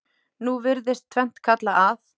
Nú virðist tvennt kalla að